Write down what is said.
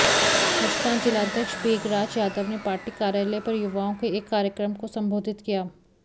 हजकां जिलाध्यक्ष बेगराज यादव ने पार्टी कार्यालय पर युवाओं के एक कार्यक्रम को संबोधित किया